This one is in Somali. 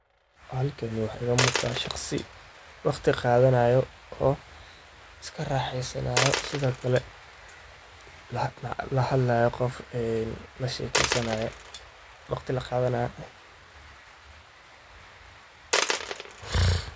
Halkani waxa iga muqda shaqsi wakhti qaadanayo oo iskaa raxeysanayo sidhoo kale la hadlayo qof la shekeysanayo wakhti laqaadanayo.